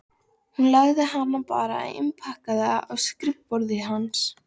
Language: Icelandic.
Ég lagði hana bara innpakkaða á skrifborðið hans.